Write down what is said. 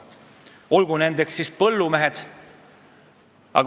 Näiteks on seda teinud põllumehed.